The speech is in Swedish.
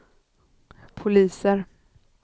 poliser